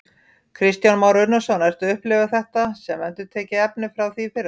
Kristján Már Unnarsson: Ertu að upplifa þetta sem endurtekið efni frá því í fyrra?